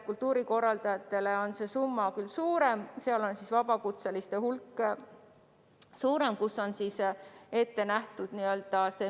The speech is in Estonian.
Kultuurikorraldajate puhul on see summa küll suurem, sest nende hulgas on vabakutselisi rohkem, kellele on ette nähtud miinimumpalk.